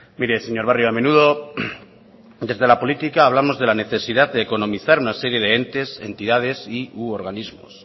mire señor barrio a menudo desde la política hablamos de la necesidad de economizar una serie de entes entidades y u organismos